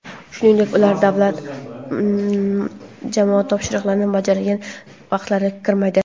shuningdek ular davlat va jamoat topshiriqlarini bajargan vaqtlari kirmaydi.